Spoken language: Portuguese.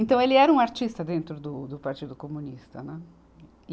Então ele era um artista dentro do, do Partido Comunista, né. E